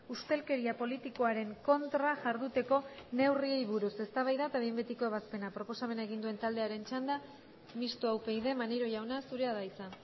ustelkeria politikoaren kontra jarduteko neurriei buruz eztabaida eta behin betiko ebazpena proposamena egin duen taldearen txanda mistoa upyd maneiro jauna zurea da hitza